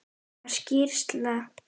Var skýrsla